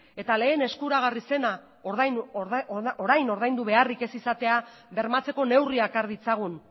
eta lehen eskuragarri zena orain ordaindu beharrik ez izatea bermatzeko neurriak har ditzagun